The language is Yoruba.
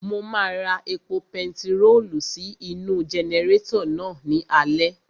Mo máa ra epo pentiróòlù sí inú-u jẹnẹrétọ̀ náà ní alẹ́